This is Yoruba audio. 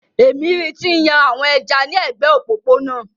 Èmi ri ti ń yan àwọn ẹja ni ẹ̀gbẹ́ òpópónà.